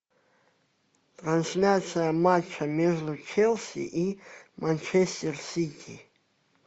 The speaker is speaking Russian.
трансляция матча между челси и манчестер сити